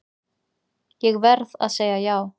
Ég verð að segja já.